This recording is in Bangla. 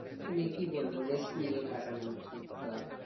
মানে কি বলব rest নিয়ে কাটানো উচিৎ বা